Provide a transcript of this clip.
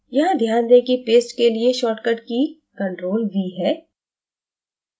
यहां ध्यान दें कि paste के लिए shortcut key ctrl + v है